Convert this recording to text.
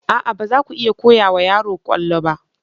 A'a! ba za ku iya koya wa yaro kwallo ba.